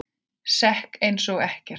Sekk ég einsog ekkert.